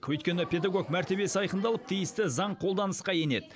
өйткені педагог мәртебесі айқындалып тиісті заң қолданысқа енеді